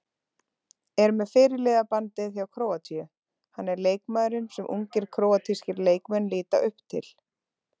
Er með fyrirliðabandið hjá Króatíu, hann er leikmaðurinn sem ungir króatískir leikmenn líta upp til.